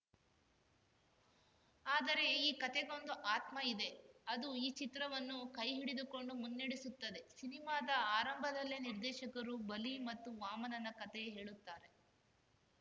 ಆದರೆ ಈ ಕತೆಗೊಂದು ಆತ್ಮ ಇದೆ ಅದು ಈ ಚಿತ್ರವನ್ನು ಕೈಹಿಡಿದುಕೊಂಡು ಮುನ್ನಡೆಸುತ್ತದೆ ಸಿನಿಮಾದ ಆರಂಭದಲ್ಲೇ ನಿರ್ದೇಶಕರು ಬಲಿ ಮತ್ತು ವಾಮನನ ಕತೆ ಹೇಳುತ್ತಾರೆ